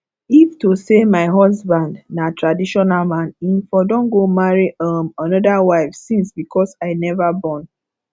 if to say my husband na traditional man im for don go marry um another wife since because i never born